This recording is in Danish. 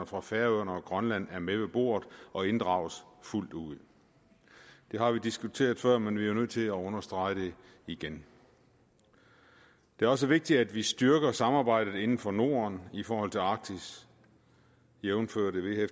fra færøerne og grønland er med ved bordet og inddraget fuldt ud det har vi diskuteret før men vi er jo nødt til at understrege det igen det er også vigtigt at vi styrker samarbejdet inden for norden i forhold til arktis jævnfør